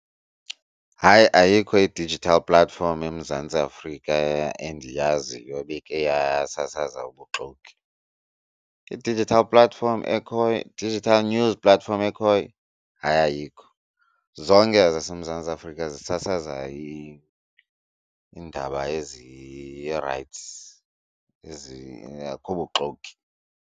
Hayi ayikho i-digital platform eMzantsi Afrika endiyaziyo ibikhe yasasaza ubuxoki. I-digital platform ekhoyo, i-digital news platform ekhoyo, hayi ayikho. Zonke ezaseMzantsi Afrika zisasaza iindaba ezi rayithi, akukho buxoki.